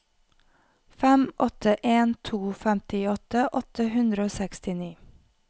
fem åtte en to femtiåtte åtte hundre og sekstini